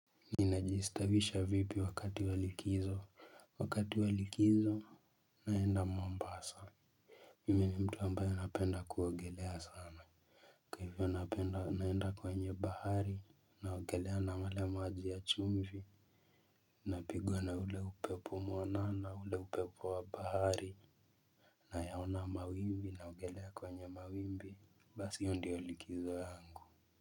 Ninajiistawisha vipi wakati wa likizo wakati wa likizo naenda mombasa. Mimi ni mtu ambayo napenda kuogelea sana. Kwa hivyo napenda naenda kwenye bahari naogelea na yale maji ya chumvi. Napigwa na ule upepo mwanana ule upepo wa bahari. Nayaona mawimbi naogelea kwenye mawimbi basi hii ndiyo likizo yangu.